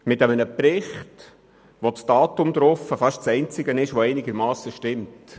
In diesem Bericht ist das Datum das einzige, was einigermassen stimmt.